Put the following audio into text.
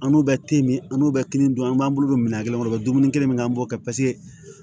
An n'u bɛ te min an n'u bɛ kelen dun an b'an bolo don minɛn kelen kɔnɔ o bɛ dumuni kelen min kɛ an b'o kɛ paseke